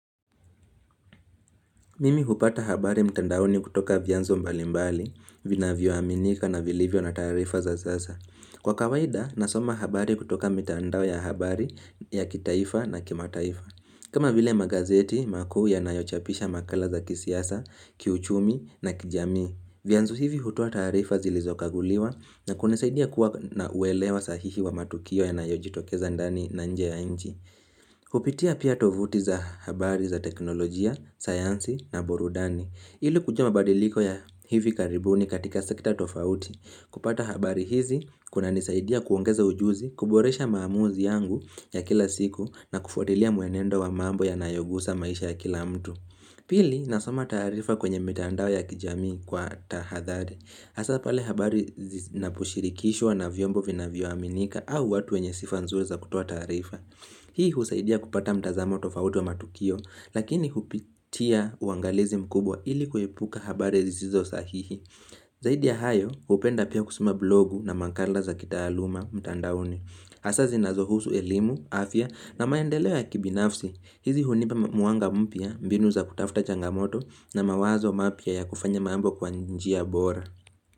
Mimi hupata habari mtandaoni kutoka vianzo mbali mbali, vina vioaminika na vilivyo na taarifa za sasa. Kwa kawaida, nasoma habari kutoka mitandao ya habari ya kitaifa na kimataifa. Kama vile magazeti, makuu yanayochapisha makala za kisiasa, kiuchumi na kijami. Vyanzo hivi hutoa taarifa zilizokaguliwa na kunisaidia kuwa na uelewa sahihi wa matukio ya nayojitokeza ndani na nje ya nji. Kupitia pia tovuti za habari za teknolojia, sayansi na burudani Ilu kujua mabadiliko ya hivi karibuni katika sekta tofauti kupata habari hizi, kuna nisaidia kuongeza ujuzi, kuboresha maamuzi yangu ya kila siku na kufuatilia muenendo wa mambo yanayogusa maisha ya kila mtu Pili, nasoma taarifa kwenye mitandao ya kijamii kwa tahadhari hAsapale habari zinaposhirikishwa na vyombo vina vyoaminika au watu wenye sifanzuri za kutoa taarifa Hii husaidia kupata mtazamo tofauti wa matukio, lakini hupitia uangalizi mkubwa ili kuepuka habari zisizo sahihi. Zaidi ya hayo, hupenda pia kusoma blogu na makala za kitaaluma mtandaoni. hAsa zinazohusu elimu, afya na maendeleo ya kibinafsi. Hizi hunipa mwanga mpya, mbinu za kutafuta changamoto na mawazo mapya ya kufanya mambo kwa njia bora.